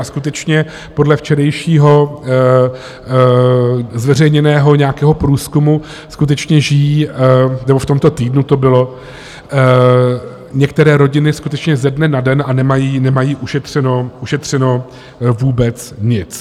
A skutečně podle včerejšího zveřejněného nějakého průzkumu skutečně žijí - nebo v tomto týdnu to bylo - některé rodiny skutečně ze dne na den a nemají ušetřeno vůbec nic.